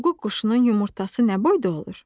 Ququ quşunun yumurtası nə boyda olur?